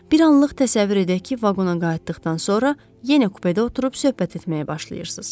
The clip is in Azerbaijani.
Bir anlıq təsəvvür edək ki, vaqona qayıtdıqdan sonra yenə kupedə oturub söhbət etməyə başlayırsız.